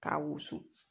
K'a wusu